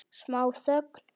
Smá þögn.